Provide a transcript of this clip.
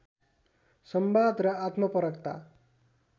संवाद र आत्मपरकता